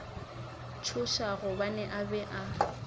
tšhoša gobane a be a